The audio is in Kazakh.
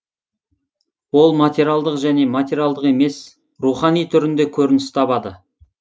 ол материалдық және материалдық емес рухани түрінде көрініс табады